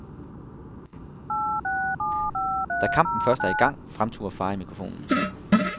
Da kampen først er i gang, fremturer far i mikrofonen.